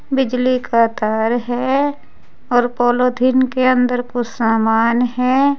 बिजली का तार है और पॉलोथीन के अंदर कुछ सामान है।